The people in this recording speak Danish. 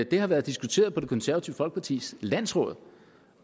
det har været diskuteret på det konservative folkepartis landsråd